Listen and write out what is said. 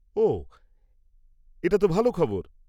-ওহ এটা তো ভালো খবর।